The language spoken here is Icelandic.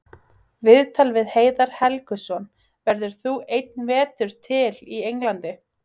Viðtal við Heiðar Helguson: Verður þú einn vetur til í Englandi?